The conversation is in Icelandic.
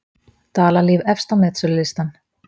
Dalalíf efst á metsölulistann